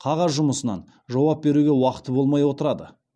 қағаз жұмысынан жауап беруге уақыты болмай отырады